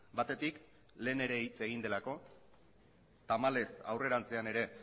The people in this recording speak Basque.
batetik lehen ere hitz egin delako tamalez aurrerantzean ere